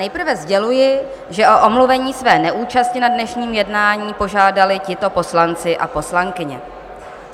Nejprve sděluji, že o omluvení své neúčasti na dnešním jednání požádali tito poslanci a poslankyně.